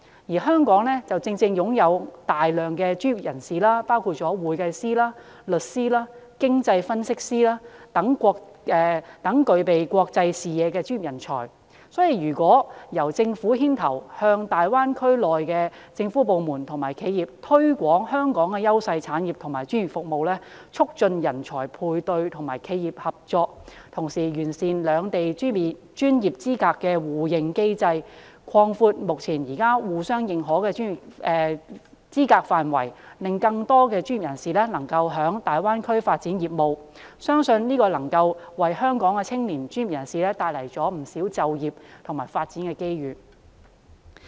而香港正正擁有大量專業人士，包括會計師、律師、經濟分析師等具備國際視野的專業人才，如果由政府牽頭向大灣區內的政府部門和企業推廣香港的優勢產業和專業服務，促進人才配對和企業合作，同時完善兩地專業資格的互認機制，擴闊目前互相認可的專業資格範圍，讓更多專業人士可在大灣區發展業務，相信能為香港的青年專業人士帶來不少就業和發展機遇。